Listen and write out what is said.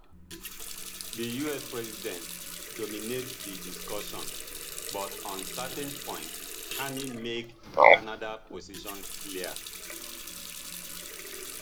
di us president dominate di discussion but on certain points carney make canada position clear